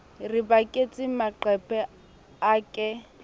re baketse maqeba a ke